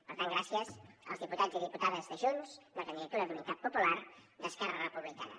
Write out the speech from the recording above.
per tant gràcies als diputats i diputades de junts de la candidatura d’unitat popular d’esquerra republicana